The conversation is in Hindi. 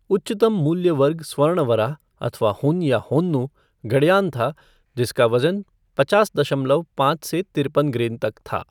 उच्चतम मूल्य वर्ग स्वर्ण वराह अथवा हुन या होन्नु, गडयान था जिसका वजन पचास दशमलव पाँछः से तिरपन ग्रेन तक था।